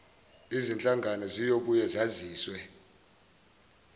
zinhlangano ziyobuye zazise